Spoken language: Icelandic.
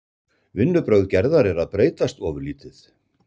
Vinnubrögð Gerðar eru að breytast ofurlítið.